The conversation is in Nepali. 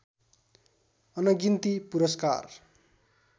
अनगिन्ती पुरस्कार